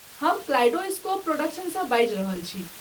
हम कलाइडोस्कोप प्रोडक्शन्ससँ बाजि रहल छी।